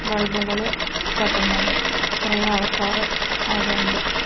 ബൾബുകള് കത്തുന്നുണ്ട് കുറെ ആൾക്കാർ അവിടെയുണ്ട്.